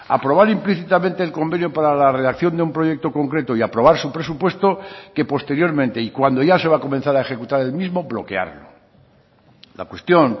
aprobar implícitamente el convenio para la redacción de un proyecto concreto y aprobar su presupuesto que posteriormente y cuando ya se va a comenzar a ejecutar el mismo bloquearlo la cuestión